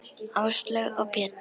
Áslaug og Pétur.